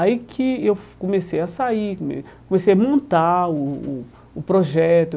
Aí que eu comecei a sair, come comecei a montar o o o projeto.